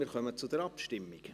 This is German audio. Wir kommen zur Abstimmung.